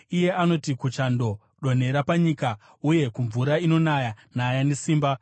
Anoti kuchando, ‘Donhera panyika,’ nokumvura inonaya, ‘Naya nesimba.’